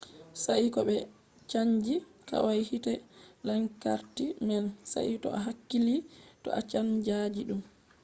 sai to ɓe chanji kwai hite lantarki man. sai to a hakkili to a chanjan ɗum